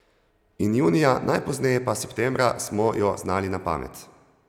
In junija, najpozneje pa septembra, smo jo znali na pamet.